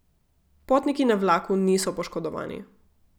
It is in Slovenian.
Potniki na vlaku niso poškodovani.